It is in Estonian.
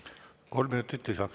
Kolm minutit lisaks.